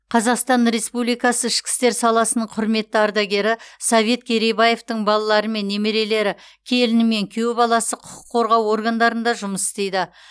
қазақстан республикасы ішкі істер саласының құрметті ардагері совет керейбаевтың балалары мен немерелері келіні мен күйеу баласы құқық қорғау органдарында жұмыс істейді